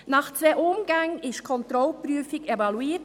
Nach zwei Umgängen wurde die Kontrollprüfung evaluiert.